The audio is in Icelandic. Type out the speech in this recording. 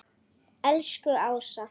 Elsku Ása.